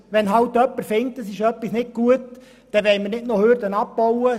Wenn jemand findet, etwas sei nicht gut, sollten wir keine Hürden abbauen.